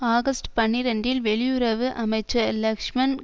August பனிரெண்டில் வெளியுறவு அமைச்சர் லக்ஷ்மன்